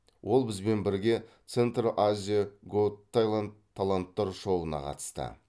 ол бізбен бірге центр азиа гот тэлант таланттар шоуына қатысты